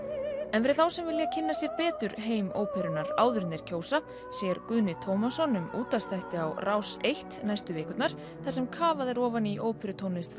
en fyrir þá sem vilja kynna sér betur heim óperunnar áður en þeir kjósa sér Guðni Tómasson um útvarpsþætti á Rás eins næstu vikurnar þar sem kafað er ofan í óperutónlist